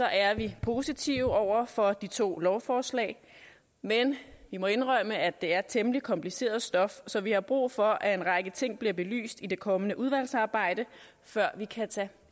er vi positivt stemt over for de to lovforslag men vi må indrømme at det er temmelig kompliceret stof så vi har brug for at en række ting bliver belyst i det kommende udvalgsarbejde før vi kan tage